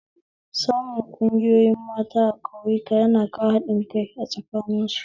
Samun ƙungoyir ƴan mata a ƙauyaku yana kawo haɗin kai tsakanin su